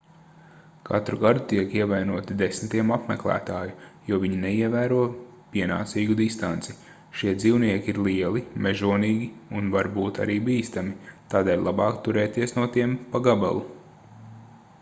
katru gadu tiek ievainoti desmitiem apmeklētāju jo viņi neievēro pienācīgu distanci šie dzīvnieki ir lieli mežonīgi un var būt arī bīstami tādēļ labāk turēties no tiem pa gabalu